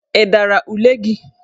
Ị dara ule gi?